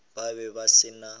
ba be ba se na